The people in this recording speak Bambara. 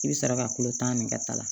I bɛ sɔrɔ ka tulo tan nin kata la